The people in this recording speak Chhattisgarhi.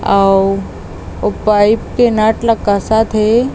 अउ पाइप के नट ला कसत थे।